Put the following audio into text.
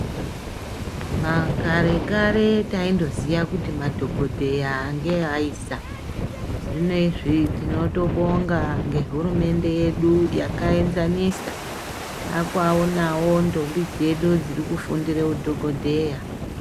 Makarekare taindoziya kuti madhokodheya ngeaisa ,zvinezvi tinotobonga ngehurumende yedu yakaenzanisa, Taakuaonawo ndombi dzedu dziri kufundire udhokodheya.